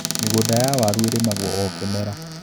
Migũnda ya waru ĩrĩmagwo o kĩmera.